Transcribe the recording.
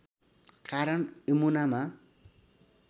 कारण यमुनामा